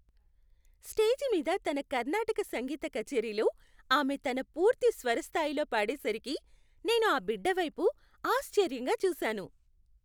Stage మీద తన కర్ణాటక సంగీత కచేరిలో ఆమె తన పూర్తి స్వర స్థాయిలో పాడేసరికి నేను ఆ బిడ్డవైపు ఆశ్చర్యంగా చూశాను.